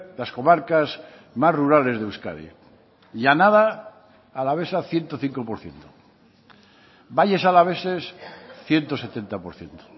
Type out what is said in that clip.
las comarcas más rurales de euskadi llanada alavesa ciento cinco por ciento valles alaveses ciento setenta por ciento